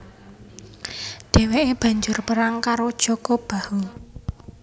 Dheweke banjur perang karo Jaka Bahu